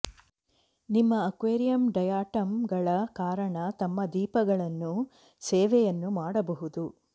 ನಿಮ್ಮ aquarium diatom ಗಳ ಕಾರಣ ತಮ್ಮ ದೀಪಗಳನ್ನು ಸೇವೆಯನ್ನು ಮಾಡಬಹುದು